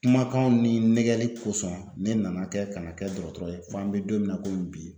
Kumakanw ni nɛgɛli kosɔn ne nana kɛ kana kɛ dɔgɔtɔrɔ ye fo an bɛ don min na komi bi.